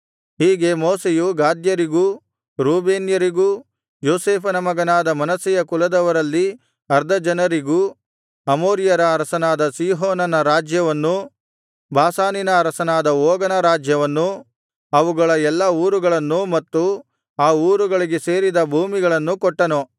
ಹೀಗೆ ಮೋಶೆಯು ಗಾದ್ಯರಿಗೂ ರೂಬೇನ್ಯರಿಗೂ ಯೋಸೇಫನ ಮಗನಾದ ಮನಸ್ಸೆಯ ಕುಲದವರಲ್ಲಿ ಅರ್ಧಜನರಿಗೂ ಅಮೋರಿಯರ ಅರಸನಾದ ಸೀಹೋನನ ರಾಜ್ಯವನ್ನೂ ಬಾಷಾನಿನ ಅರಸನಾದ ಓಗನ ರಾಜ್ಯವನ್ನೂ ಅವುಗಳ ಎಲ್ಲಾ ಊರುಗಳನ್ನೂ ಮತ್ತು ಆ ಊರುಗಳಿಗೆ ಸೇರಿದ ಭೂಮಿಗಳನ್ನೂ ಕೊಟ್ಟನು